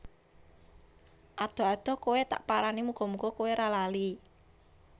Adoh adoh kowe tak parani muga muga kowe ra lali